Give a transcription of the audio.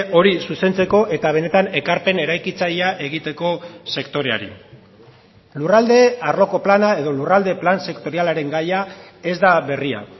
hori zuzentzeko eta benetan ekarpen eraikitzailea egiteko sektoreari lurralde arloko plana edo lurralde plan sektorialaren gaia ez da berria